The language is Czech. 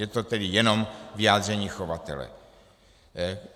Je to tedy jenom vyjádření chovatele.